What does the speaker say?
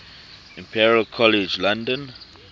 imperial college london